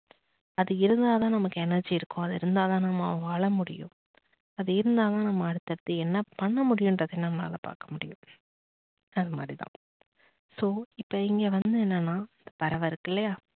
அது இருந்தா தான் நமக்கு energy இருக்கும் அது இருந்தா தான் நம்ம வாழ முடியும் அது இருந்தா தான் நம்ம அடுத்தடுத்து என்ன பண்ண முடியும்னுறதையும் நம்மளால பாக்க முடியும். அந்த மாதிரி தான் so இப்ப இங்க வந்து என்னன்னா பறவை இருக்கு இல்லையா